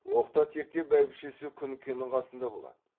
оқта текте бәйбішесі күнкенің қасында болады